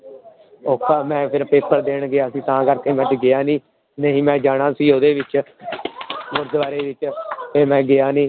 ਔਖਾ ਮੈਂ ਫਿਰ ਪੇਪਰ ਦੇਣ ਗਿਆ ਸੀ ਤਾਂ ਕਰਕੇ ਮੈਂ ਅੱਜ ਗਿਆ ਨੀ, ਨਹੀਂ ਮੈਂ ਜਾਣਾ ਸੀ ਉਹਦੇ ਵਿੱਚ ਗੁਰਦੁਆਰੇ ਵਿੱਚ ਤੇ ਮੈਂ ਗਿਆ ਨੀ।